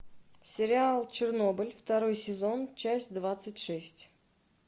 сериал чернобыль второй сезон часть двадцать шесть